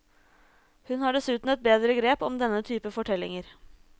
Hun har dessuten et bedre grep om denne typen fortellinger.